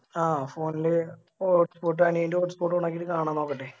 ആഹ് Phone ല് Hotspot അനിയൻറെ Hotspot on ആക്കിറ്റ് കാണാ നോക്കട്ടെ